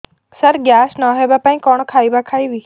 ସାର gas ନ ହେବା ପାଇଁ କଣ ଖାଇବା ଖାଇବି